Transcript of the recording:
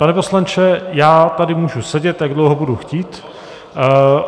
Pane poslanče, já tady můžu sedět, jak dlouho budu chtít.